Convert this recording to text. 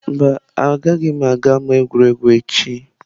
Mba, agaghị m aga ama egwuregwu echi.